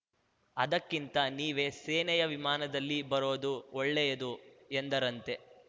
ಅದಕ್ಕಿಂತ ನೀವೇ ಸೇನೆಯ ವಿಮಾನದಲ್ಲಿ ಬರೋದು ಒಳ್ಳೆಯದು ಎಂದರಂತೆ